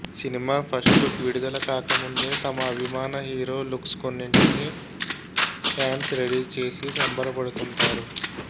cinema first look విడుదల కాకముందే తమ అభిమాన హీరో లుక్స్ కొన్నింటిని ఫ్యాన్స్ రెడీ చేసి సంబరపడుతుంటారు